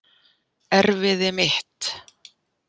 Erfiði mitt.